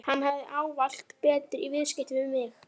Hann hafði ávallt betur í viðskiptum við mig.